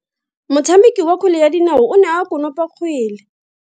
Motshameki wa kgwele ya dinao o ne a konopa kgwele.